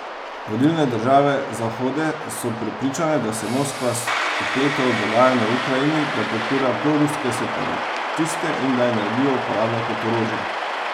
Vodilne države Zahode so prepričane, da se Moskva vpleta v dogajanje v Ukrajini, da podpira proruske separatiste in da energijo uporablja kot orožje.